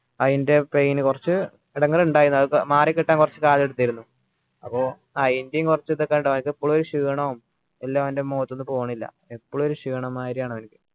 അയിൻ്റെ pain കുറച്ച് എടങ്ങാറ് ഉണ്ടായിന് അത് മാറി കിട്ടാൻ കുറച്ച് കാലം എടുത്തിരുന്നു അപ്പോ അതിൻ്റെയും കുറച്ച് ഇതൊക്കെയുണ്ട് ഓന്ക്ക് ഇപ്പോളും ഒരു ക്ഷീണം എല്ലോ ഓൻ്റെ മുഖത്തുനിന്ന് പോണില്ല എപ്പോളും ഒരു ക്ഷീണം മാതിരിയ അവൻ